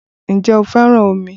Ǹjẹ́ ó fẹ́ràn omi?